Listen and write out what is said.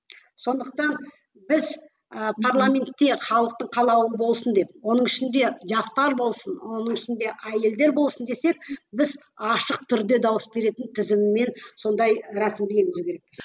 сондықтан біз ы парламентте халықтың қалауы болсын деп оның ішінде жастар болсын оның ішінде әйелдер болсын десек біз ашық түрде дауыс беретін тізіммен сондай рәсімді енгізу керекпіз